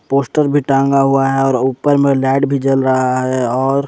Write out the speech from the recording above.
poster भी टांगा हुआ है और ऊपर में लाइट भी जल रहा है और--